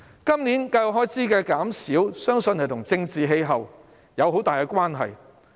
今年教育開支的減少，相信與政治氣候有莫大關係。